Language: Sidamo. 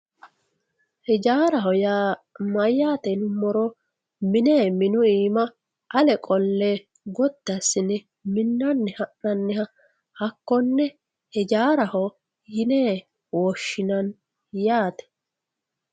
hijaaraho yaa mayyate yinummoro mine mine minu iima ale qolle gotti assine minnanni ha'ananniha hakkonne hijaaraho yine woshshinanni yaate